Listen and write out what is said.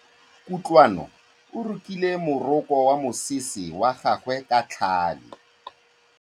Kutlwanô o rokile morokô wa mosese wa gagwe ka tlhale.